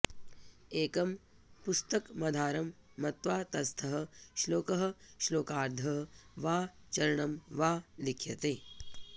एकं पुस्तकमाधारं मत्वा तत्स्थः श्लोकः श्लोकार्धः वा चरणं वा लिख्यते